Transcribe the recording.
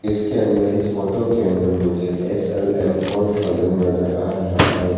इसके अंदर इस फोटो के अंदर मुझे एस_एल_एम फोर थाउजेंड नजर आ रहा है।